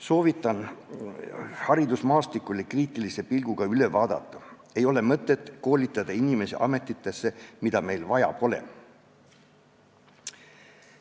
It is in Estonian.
Soovitan haridusmaastiku kriitilise pilguga üle vaadata: ei ole mõtet koolitada inimesi ametitesse, mida meil vaja pole.